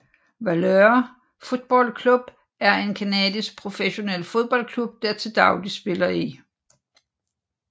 Valour Football Club er en canadisk professionel fodboldklub der til dagligt spiller i